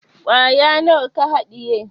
Kwaya nawa ka haɗiye?